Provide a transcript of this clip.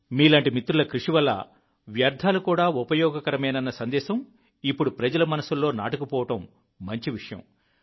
మీలాంటి మిత్రుల కృషి వల్ల వ్యర్థాలు కూడా ఉపయోగకరమేనన్న సందేశం ఇప్పుడు ప్రజల మనస్సుల్లో నాటుకు పోవడం మంచి విషయం